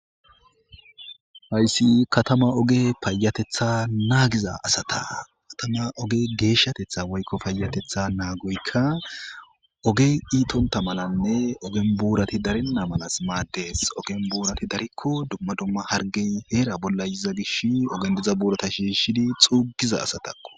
Hayssi katama oge payatetha naagiza asata katama oge geeshshatetha woykko paayatetha naagoykka ogey iitonta malanne ogen buurati darinna malas maaddees ogen buurati darikko dumma dumma hargey heera bolla yiza gish ogendiza buurata shiishidi xuugiza asatako.